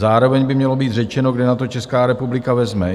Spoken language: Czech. Zároveň by mělo být řečeno, kde na to Česká republika vezme.